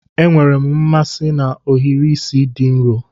Enwere m mmasị na ohiri isi di nro